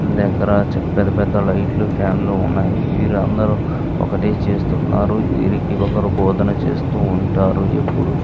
దగ్గర పెద్ధ పెద్ధ లైట్లు ఫ్యాన్ లు ఉన్నాయి. వీరందరూ ఒకటే చేస్తున్నారు వీరికి ఇకరు బోధన చేస్తూ ఉంటారు ఎప్పుడు.